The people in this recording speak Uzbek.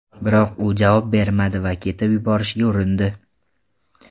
Biroq u javob bermadi va ketib yuborishga urindi.